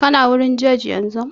Kana wurin jaj yanzu?